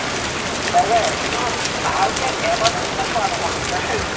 তাকে। কিন্তু ভালকে এটা বস্তু চোৱা নহল কিন্তু দে